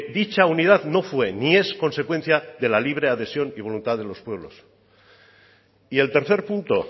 dicha unidad no fue ni es consecuencia de la libre adhesión y voluntad de los pueblos y el tercer punto